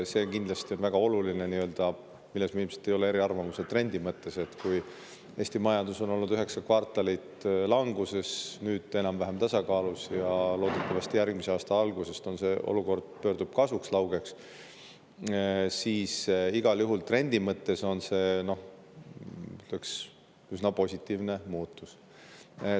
See on kindlasti väga oluline – me ilmselt ei ole eriarvamusel trendi mõttes –, et kui Eesti majandus on olnud üheksa kvartalit languses, nüüd on ta enam-vähem tasakaalus ja loodetavasti järgmise aasta alguses see olukord pöördub kasvule, laugele kasvule, siis trendi mõttes on see, ütleks, igal juhul üsna positiivne muutus.